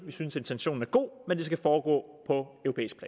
vi synes intentionen er god men det skal foregå